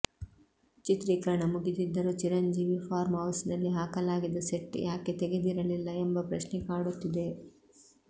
ಚಿತ್ರೀಕರಣ ಮುಗಿದಿದ್ದರೂ Chiranjeevi farm house ನಲ್ಲಿ ಹಾಕಲಾಗಿದ್ದ ಸೆಟ್ ಯಾಕೆ ತೆಗೆದಿರಲಿಲ್ಲ ಎಂಬ ಪ್ರಶ್ನೆ ಕಾಡುತ್ತಿದೆ